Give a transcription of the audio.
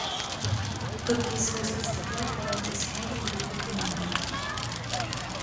какие свойства стекла лежат в основе его применения